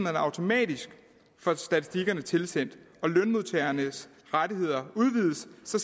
automatisk får statistikkerne tilsendt og lønmodtagernes rettigheder udvides